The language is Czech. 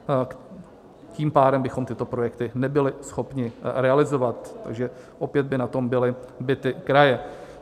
Tím pádem bychom tyto projekty nebyly schopni realizovat, takže opět by na tom byly bity kraje.